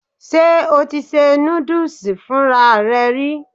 Ṣé o ti ṣe núdùsì fúnra rẹ rí?